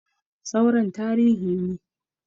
Sauran tarihi ne